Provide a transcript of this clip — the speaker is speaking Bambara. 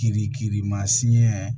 Kiri kirimasiɲɛ